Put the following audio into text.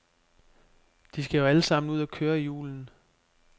De skal alle sammen ud at køre i julen.